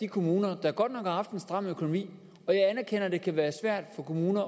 kommuner der godt nok har haft en stram økonomi og jeg anerkender det kan være svært for kommunerne